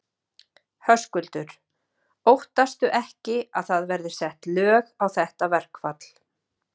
Höskuldur: Óttastu ekki að það verði sett lög á þetta verkfall?